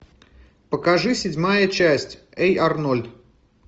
покажи седьмая часть эй арнольд